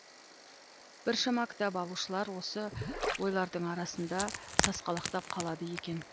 біршама кітап алушылар осы ойлардың арасында сасқалақтап қалады екен